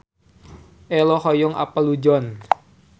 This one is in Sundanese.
Ello hoyong apal Luzon